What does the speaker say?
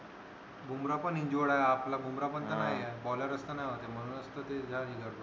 बुम्रा पण injured आहे आपला बुम्रा पण तर नाहीये